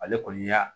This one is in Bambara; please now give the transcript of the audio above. Ale kɔni y'a